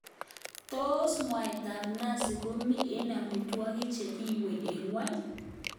Tos mwaitab nazi komi eng amitwogik che giiwei eng ngwonyi?